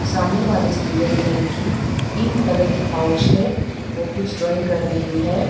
सामने वाले स्टूडेंट में की पिंक कलर की पाउच है वह कुछ ड्राइंग कर रही है।